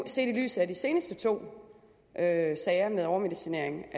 set i lyset af de seneste to sager med overmedicinering